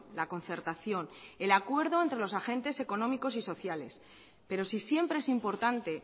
la concertación el acuerdo entre los agentes económicos y sociales pero si siempre es importante